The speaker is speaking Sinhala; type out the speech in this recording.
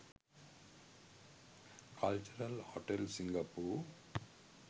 cultural hotel singapore